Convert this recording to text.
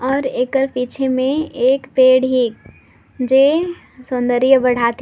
और एकर पीछे में एक पेड़ हिक जे सौंदर्य बाढाथीक।